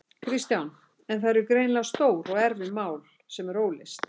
Kristján: En það eru greinilega stór og erfið mál sem eru óleyst?